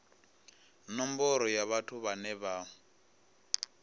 nomboro ya vhathu vhane vha